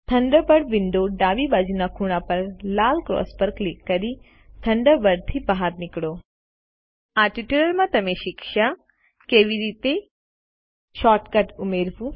Thunderbird વિંડોની ડાબી બાજુના ખૂણા પર લાલ ક્રોસ પર ક્લિક કરીથન્ડરબર્ડથી બહાર નીકળો આ ટ્યુટોરીયલ માં આપણે શીખ્યા કેવી રીતે160 શોર્ટ કટ ઉમેરવું